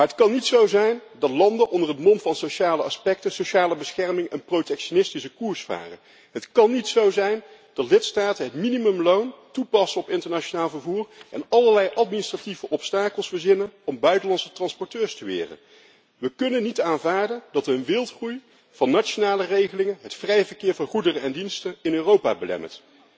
Maar het kan niet zo zijn dat landen onder het mom van sociale aspecten en sociale bescherming een protectionistische koers varen. Het kan niet zo zijn dat lidstaten het minimumloon toepassen op internationaal vervoer en allerlei administratieve obstakels verzinnen om buitenlandse transporteurs te weren. We kunnen niet aanvaarden dat een wildgroei van nationale regelingen het vrij verkeer van goederen en diensten in Europa belemmert.